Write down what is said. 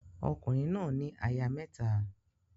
Ọkùnrin náà ní aya mẹ́ta.